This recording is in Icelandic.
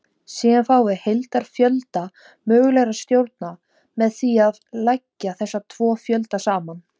Síðan fáum við heildarfjölda mögulegra stjórna með því að leggja þessa tvo fjölda saman.